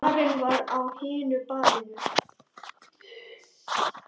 Karen var á hinu baðinu.